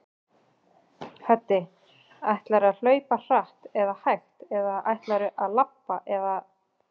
Hödd: Ætlarðu að hlaupa hratt eða hægt eða ætlarðu að labba eða?